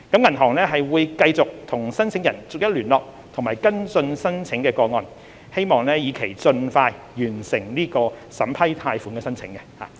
銀行會繼續與申請人逐一聯絡和跟進申請個案，以期盡快完成審批貸款申請。